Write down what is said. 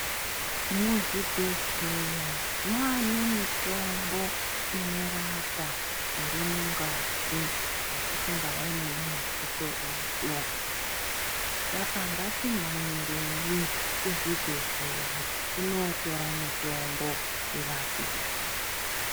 Muzvibhedhleya manemitombo inorapa irimungazi yatisingawone nemaziso edu. Saka ngatimhanyireyi kuzvibhedhlera, tinotora mitombo tirapike.